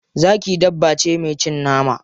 Zaki dabba ce mai cin nama.